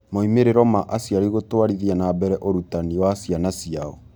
Moimĩrĩro ma Aciari Gũtwarithia na Mbere Ũrutani wa Ciana Ciao